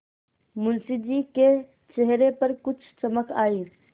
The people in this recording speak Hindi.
मुंशी जी के चेहरे पर कुछ चमक आई